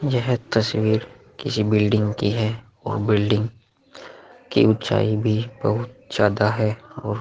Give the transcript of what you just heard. यह तस्वीर किसी बिल्डिंग की है और बिल्डिंग की ऊंचाई भी बहुत ज्यादा है और --